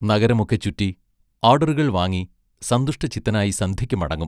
നഗരമൊക്കെ ചുറ്റി, ആഡറുകൾ വാങ്ങി, സന്തുഷ്ടചിത്തനായി സന്ധ്യയ്ക്ക് മടങ്ങും.